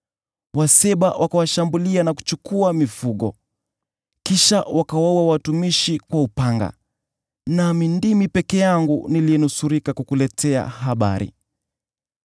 Waseba wakawashambulia na kuchukua mifugo. Kisha wakawaua watumishi kwa upanga, nami ndimi peke yangu niliyenusurika kukuletea habari!”